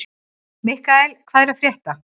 Mikkael, hvað er að frétta?